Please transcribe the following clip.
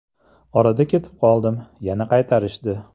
Orada ketib qoldim, yana qaytarishdi.